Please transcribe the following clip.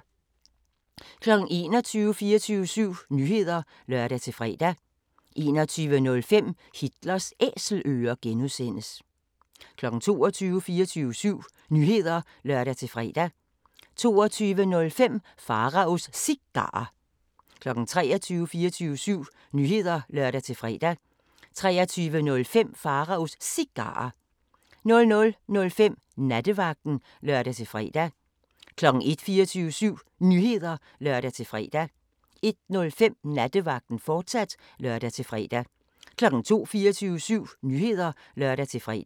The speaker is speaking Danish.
21:00: 24syv Nyheder (lør-fre) 21:05: Hitlers Æselører (G) 22:00: 24syv Nyheder (lør-fre) 22:05: Pharaos Cigarer 23:00: 24syv Nyheder (lør-fre) 23:05: Pharaos Cigarer 00:05: Nattevagten (lør-fre) 01:00: 24syv Nyheder (lør-fre) 01:05: Nattevagten, fortsat (lør-fre) 02:00: 24syv Nyheder (lør-fre)